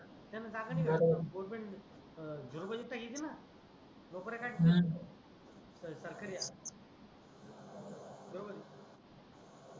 त्यांनी जागा निगाल्य बरोबर आहे गव्हर्नमेंट जुरमणी पाहिजे नोकऱ्या का हम्म सरकारी बरोबर आहे